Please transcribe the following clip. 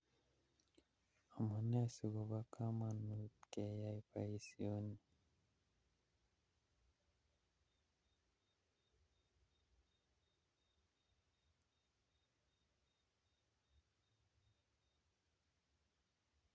Amunee sikobo komonut keyai boisioni